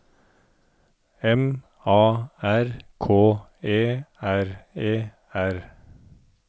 M A R K E R E R